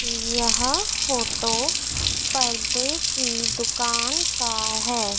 यहां फोटो पर्दे की दुकान का है।